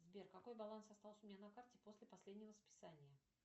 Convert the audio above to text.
сбер какой баланс остался у меня на карте после последнего списания